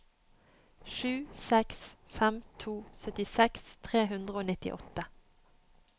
sju seks fem to syttiseks tre hundre og nittiåtte